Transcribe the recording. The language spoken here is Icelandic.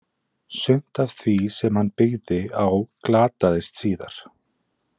Sumt af því sem hann byggði á glataðist síðar.